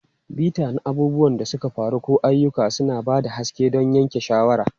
Bita na abubuwan da suka faru ko ayyuka, suna ba da haske don yanke shawara.